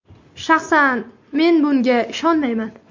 Shaxsan men bunga ishonmayman.